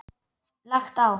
Lagt á.